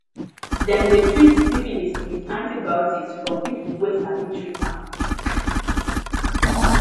dem de treat syphilis with antibiotics from people wey sabi treat am